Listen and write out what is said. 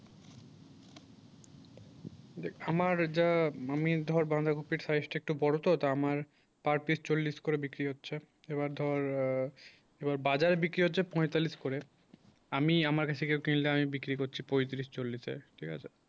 দেখ আমার যা আমি ধর বাধাকপি সাইজটা একটু বড় তো তা আমার per pice চল্লিশ করে বিক্রি হয়েছে এবার ধর আ এবার বাজারে বিক্রি হয়েছে পঁয়তাল্লিশ করে আমি আমার কাছ থেকে কিনলে আমি বিক্রি করছি পঁয়ত্রিশ চল্লিশ এ ঠিক আছে